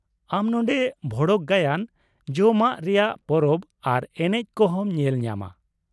ᱟᱢ ᱱᱚᱸᱰᱮ ᱵᱷᱚᱲᱚᱠᱼᱜᱟᱭᱟᱱ, ᱡᱚᱢᱟᱜ ᱨᱮᱭᱟᱜ ᱯᱚᱨᱚᱵᱽ ᱟᱨ ᱮᱱᱮᱡ ᱠᱚ ᱦᱚᱸᱢ ᱧᱮᱞ ᱧᱟᱢᱟ ᱾